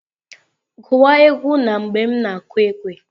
Gụwa egwu na mgbe m na-kụ ekwe!